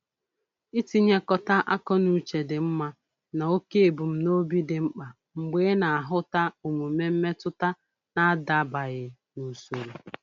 Itinyekọta akọnuche dị mma na oke ebumnobi dị mkpa mgbe ị na-ahụta omume mmetụta na-adabaghị n'usoro